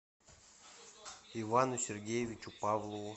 ивану сергеевичу павлову